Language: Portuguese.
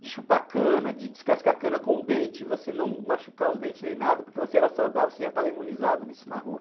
De chupar cana, de descascar cana com o dente, e você não machucar os dentes nem nada, porque você era saudável, você já estava imunizado nisso na rua.